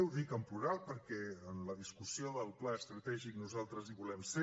ho dic en plural perquè en la discussió del pla estratègic nosaltres hi volem ser